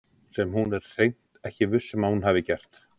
Sem hún er hreint ekki viss um að hún hafi gert.